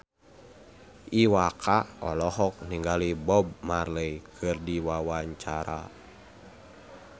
Iwa K olohok ningali Bob Marley keur diwawancara